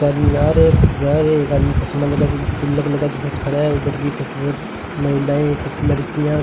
एक आदमी आ रहा है एक जा रहा है एक आदमी चश्मा लगा के तिलक लगा के खड़ा है इधर भी महिलाएं और लड़कियां --